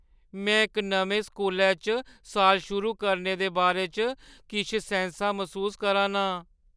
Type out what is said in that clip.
में इक नमें स्कूलै च साल शुरू करने दे बारे च किश सैंसा मसूस करा ना आं।